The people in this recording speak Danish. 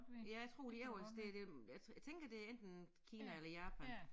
Ja jeg tror det er også det det jeg jeg tænker det enten Kina eller Japan